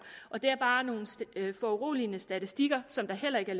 det er bare nogle foruroligende statistikker som der heller ikke